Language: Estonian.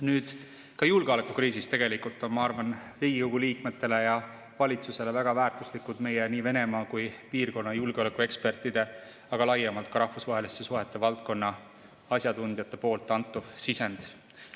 Nüüd, ka julgeolekukriisis on Riigikogu liikmetele ja valitsusele väga väärtuslik meie nii Venemaa kui piirkonna julgeolekuekspertide, aga laiemalt ka rahvusvaheliste suhete valdkonna asjatundjate antud sisend.